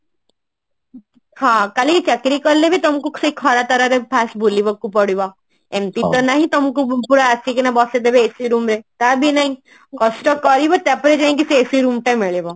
ହଁ କାଲି କି ଚାକିରି କଲେ ବି ତମକୁ ସେଇ ଖରା ତରାରେ first ବୁଲିବାକୁ ପଡିବ ଏମତି ତ ନାହିଁ ତମକୁ ପୁରା ଆସିକିନା ବସେଇ ଦେବେ AC room ରେ ତାବି ନାଇଁ କଷ୍ଟ କରିବ ତାପରେ ଯାଇଁ ସେ AC room ଟା ମିଳିବ